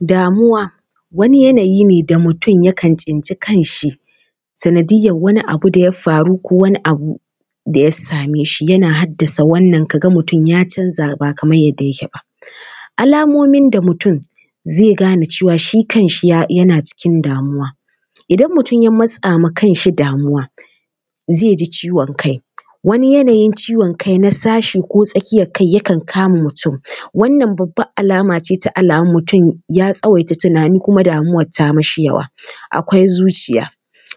Damuwa, wani yanayi ne da mutum yakan tsinci kanshi sanadiyyar wani abu da ya faru ko wani abu da ya same shi yana haddasa wannan, ka ga mutum ya canza, ba kamar yadda yake ba. Alamomin da mutum zai gane cewa shi kanshi yana cikin damuwa: idan mutum ya matsa ma kanshi damuwa, zai ji ciwon kai. Wani ciwon kai na sashi ko na tsakiyar kai yakan kama mutum. Wannan babbar alama ce ta mutum ya tsawaita tunani kuma damuwar ta mishi yawa. Akwai zuciya: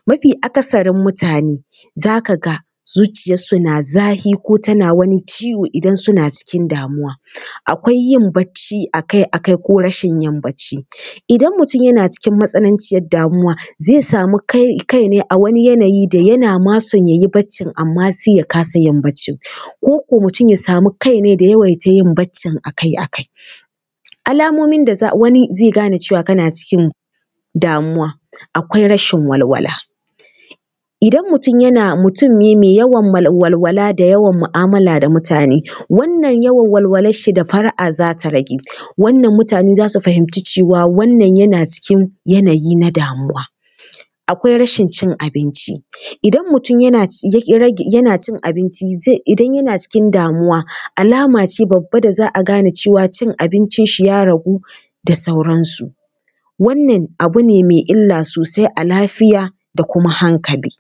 mafi aksarin mutane za ka ga zuciyarsu na zafi ko tana wani ciwo idan suna cikin damuwa. Akwai yin barci a kai a kai ko rashin yin barci:- idan mutum yana cikin matsananciyar damuwa, zai samu kai ne a wani yanayi da yana ma son ya yi barcin amma sai ya kasa yin barcin. Ko ko mutum ya samu kainai da yawaita yin barcin a kai a kai. Alamomin da wani zai gane cewa kana cikin damuwa, akwai rashin walwala: idan mutum ne mai yawan walwala da yawan mu’amala da mutane, wannan yawan walwalarshi da fara’a za ta rage. Wannan mutane za su fahimci cewa, wannan yana cikin yanayi na damuwa. Akwai rashin cin abinci: idan mutum yana cin abinci, idan yana cikin damuwa, alama ce babba da za a gane cewa cin abincinshi ya ragu da sauransu. Wannan abu ne mai illa sosai a lafiya da kuma hankali.